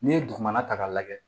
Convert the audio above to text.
N'i ye dugumana ta k'a lajɛ